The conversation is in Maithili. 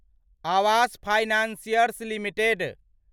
Awas financiers limited